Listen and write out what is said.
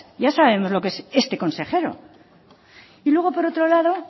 ya sabemos lo que es este consejero y luego por otro lado